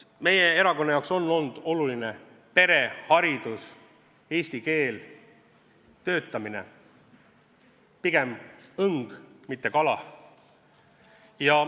Meie erakonna jaoks on olnud oluline pere, haridus, eesti keel, töötamine – pigem õng, mitte kala.